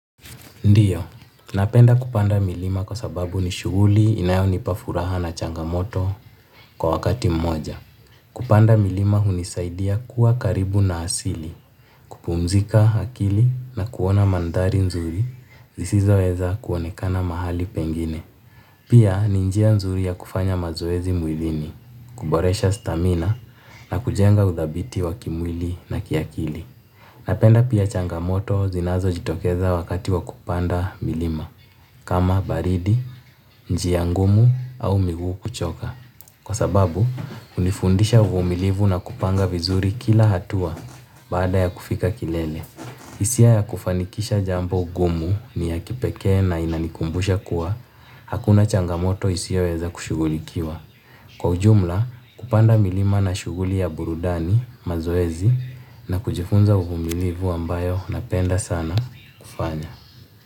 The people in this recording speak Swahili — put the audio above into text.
Ndiyo, napenda kupanda milima kwa sababu ni shughuli inayonipa furaha na changamoto kwa wakati mmoja. Kupanda milima hunisaidia kuwa karibu na asili, kupumzika akili na kuona mandhari nzuri zisizoweza kuonekana mahali pengine. Pia ni njia nzuri ya kufanya mazoezi mwilini, kuboresha stamina na kujenga uthabiti wa kimwili na kiakili. Napenda pia changamoto zinazojitokeza wakati wa kupanda milima, kama baridi, njia ngumu au miguu kuchoka. Kwa sababu, hunifundisha uvumilivu na kupanga vizuri kila hatua baada ya kufika kilele. Hisia ya kufanikisha jambo gumu ni ya kipekee na inanikumbusha kuwa, hakuna changamoto isiyoweza kushughulikiwa. Kwa ujumla kupanda milima na shughuli ya burudani mazoezi na kujifunza uvumilivu ambayo napenda sana kufanya.